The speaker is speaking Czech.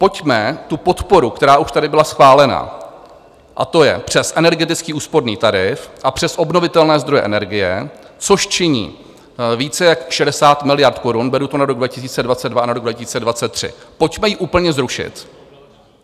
Pojďme tu podporu, která už tady byla schválena, a to je přes energetický úsporný tarif a přes obnovitelné zdroje energie, což činí více jak 60 miliard korun, beru to na rok 2022 a na rok 2023, pojďme ji úplně zrušit.